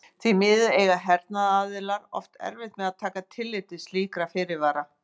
Því miður eiga hernaðaraðilar oft erfitt með að taka tillit til slíkra fyrirvara.